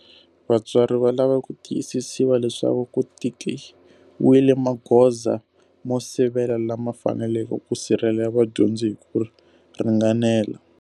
Vatswari va lava ku tiyisisiwa leswaku ku tekiwile magoza mo sivela lama faneleke ku sirhelela vadyondzi hi ku ringanela.